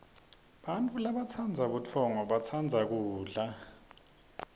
bantfu labatsandza kudla batsandza butfongo